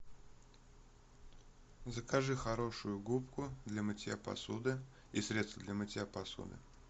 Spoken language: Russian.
закажи хорошую губку для мытья посуды и средство для мытья посуды